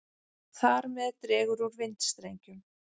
Þar með dregur úr vindstrengjum.